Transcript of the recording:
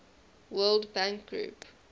world bank group